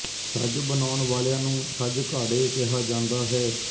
ਛੱਜ ਬਣਾਉਣ ਵਾਲਿਆਂ ਨੂੰ ਛੱਜ ਘਾੜੇ ਕਿਹਾ ਜਾਂਦਾ ਹੈ